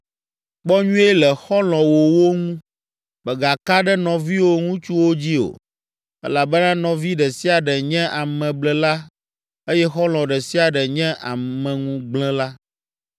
Kpɔ nyuie le xɔlɔ̃wòwo ŋu. Megaka ɖe nɔviwò ŋutsuwo dzi o, elabena nɔvi ɖe sia ɖe nye ameblela eye xɔlɔ̃ ɖe sia ɖe nye ameŋugblẽla.